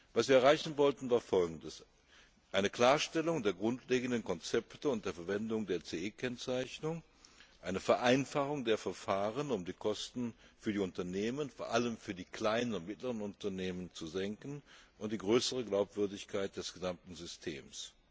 Was wir erreichen wollten, war Folgendes Eine Klarstellung der grundlegenden Konzepte und der Verwendung der CE Kennzeichnung, eine Vereinfachung der Verfahren, um die Kosten für die Unternehmen, vor allem für die kleinen und mittleren Unternehmen, zu senken, und die größere Glaubwürdigkeit des gesamten Systems.